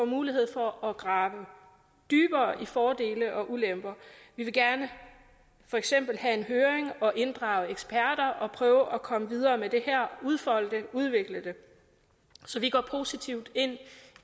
mulighed for at grave dybere ned i fordeler og ulemper vi vil for eksempel gerne have en høring og inddrage eksperter prøve at komme videre med det her og udfolde og udvikle det så vi går positivt ind